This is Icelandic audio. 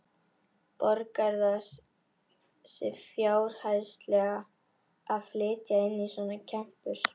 Borgar það sig fjárhagslega að flytja inn svona kempur?